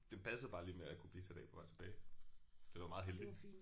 Det passede bare lige med at kunne blive sat af på vej tilbage. Så det var meget heldigt